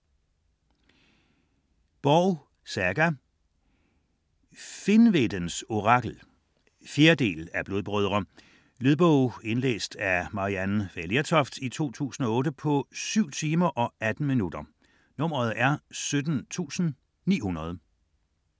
Borg, Saga: Finnvedens orakel 4. del af Blodbrødre. Lydbog 17900 Indlæst af Maryann Fay Lertoft, 2008. Spilletid: 7 timer, 18 minutter.